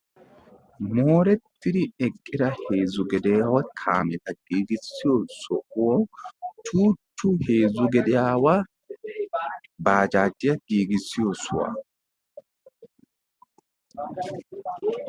Moorettidi eqqida heezzu gediyaawa kaameta giigissiyo sohuwan Chuuchchu heezzu gediyaawa baajaajiya giigissiyo sohuwa...